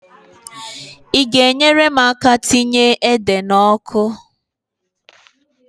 I ga-enyere m aka tinye ede n'ọkụ?